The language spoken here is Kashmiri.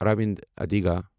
اراوند ادیگا